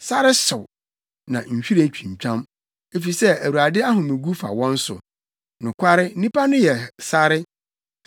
Sare hyew, na nhwiren twintwam efisɛ Awurade ahomegu fa wɔn so. Nokware, nnipa no yɛ sare.